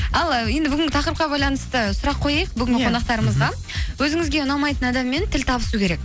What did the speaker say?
ал енді бүгінгі тақырыпқа байланысты сұрақ қояйық бүгінгі қонақтарымызға мхм өзіңізге ұнамайтын адаммен тіл табысу керек